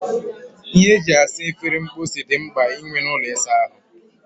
Ihe eji esa efere mposi dị mkpa inwe n'ụlọ ịsa ahụ